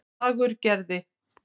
Fagurgerði